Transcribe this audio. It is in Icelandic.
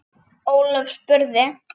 Ólöf spurði